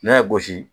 N'a y'a gosi